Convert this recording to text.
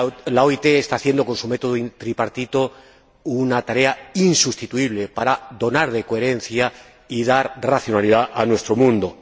La OIT está haciendo, con su método tripartito, una tarea insustituible para dotar de coherencia y de racionalidad a nuestro mundo.